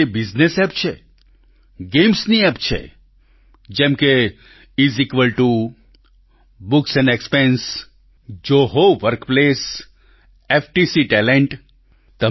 કેટલીયે business app છે games ની એપ છે જેમ કે IS equal TO books expense Zoho workplace FTC talent